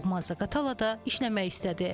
Doğma Zaqatalada işləmək istədi.